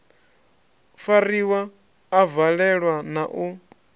fariwa a valelwa na u